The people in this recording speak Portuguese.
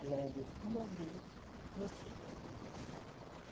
Agradeçendo a Deus, por vocês.